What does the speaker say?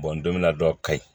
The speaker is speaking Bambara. don min na dɔ ka ɲi